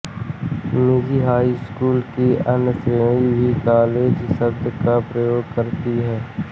निजी हाई स्कूलों की अन्य श्रेणी भी कॉलेज शब्द का प्रयोग करती है